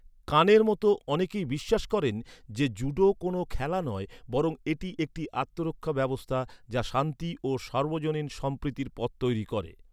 কানের মতো অনেকেই বিশ্বাস করেন যে, জুডো কোনও খেলা নয়, বরং এটি একটি আত্মরক্ষা ব্যবস্থা, যা শান্তি ও সার্বজনীন সম্প্রীতির পথ তৈরি করে।